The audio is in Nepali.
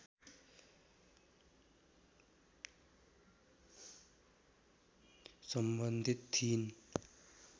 सम्बन्धित थिइन्